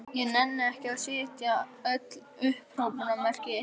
Ég nenni ekki að setja öll upphrópunarmerkin inn.